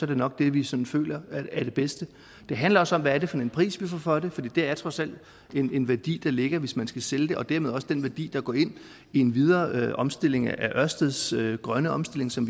det nok det vi sådan føler er det bedste det handler også om hvad det er for en pris vi får for det for det er trods alt en værdi der ligger hvis man skal sælge det og dermed også den værdi der går ind i en videre omstilling af ørsteds grønne omstilling som